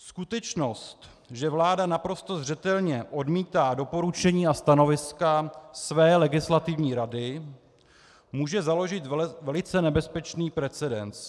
Skutečnost, že vláda naprosto zřetelně odmítá doporučení a stanoviska své Legislativní rady, může založit velice nebezpečný precedens.